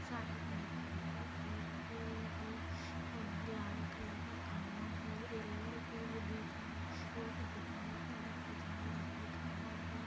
Side मे टंकी भी रखी हुई है और लाल कलर का खंबा है एक पेड़ भी है बीच मे और दीवार की तरफ उजाला दिख रहा है।